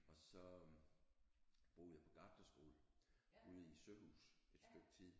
Og så boede jeg på gartnerskole ude i Søhus et stykke tid